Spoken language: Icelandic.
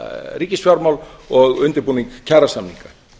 ríkisfjármál og undirbúning kjarasamninga